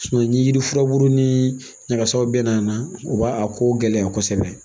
ni yiri furabulu ni ɲagasaw bɛna na u b'a ko gɛlɛya kosɛbɛ